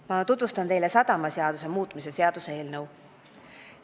Ma tutvustan teile sadamaseaduse muutmise seaduse eelnõu.